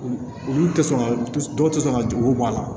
Olu tɛ sɔn ka dɔw tɛ sɔn ka dugu bɔ a la